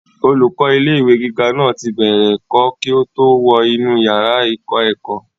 olùkọ́ ilé ìwé gíga náà ti bẹ̀rẹ̀ ẹ̀kọ́ kí ó tó wọ inú yàrá ìkọ́-ẹ̀kọ́